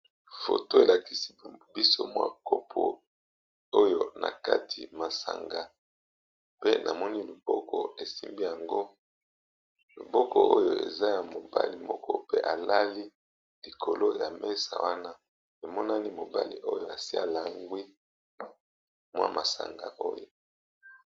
Photo elakisi biso mwa kopo oyo na kati masanga pe namoni loboko esimbi yango loboko oyo eza ya mobali moko pe alali likolo ya mesa wana emonani mobali oyo asi alangwi mwa masanga oyo